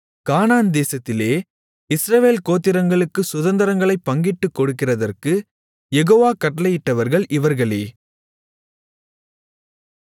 கானான்தேசத்திலே இஸ்ரவேல் கோத்திரங்களுக்குச் சுதந்தரங்களைப் பங்கிட்டுக் கொடுக்கிறதற்குக் யெகோவா கட்டளையிட்டவர்கள் இவர்களே